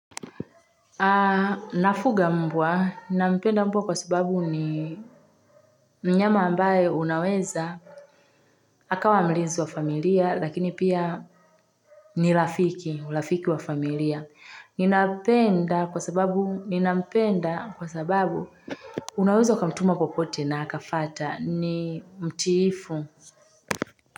Na fuga mbwa, nina mpenda mbwa kwa sababu ni mnyama ambaye unaweza, akawa mlizi wa familia lakini pia nirafiki, rafiki wa familia. Ninapenda kwa sababu, nina mpenda kwa sababu unaweza kamtuma kokote na akafata ni mtiifu.